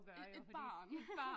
Et barn